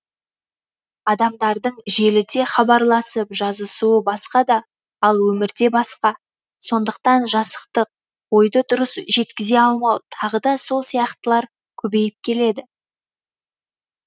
адамдардың желіде хабар алмасып жазысуы басқа да ал өмірде басқа сондықтан жасықтық ойды дұрыс жеткізе алмау тағы да сол сияқтылар көбейіп келеді